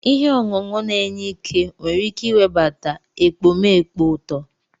Ihe ọṅụṅụ na-enye ike nwere ike iwebata ekpomeekpo uto.